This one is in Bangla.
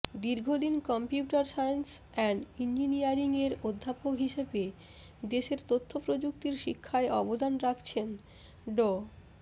দীর্ঘদিন কম্পিউটার সায়েন্স অ্যান্ড ইঞ্জিনিয়ারিংয়ের অধ্যাপক হিসেব দেশের তথ্যপ্রযুক্তির শিক্ষায় অবদান রাখছেন ড